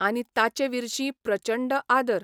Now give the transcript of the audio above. आनी ताचे विर्शी प्रचंड आदर...